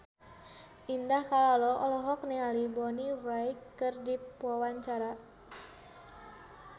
Indah Kalalo olohok ningali Bonnie Wright keur diwawancara